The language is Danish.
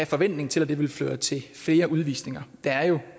forventning til at det vil føre til flere udvisninger der er jo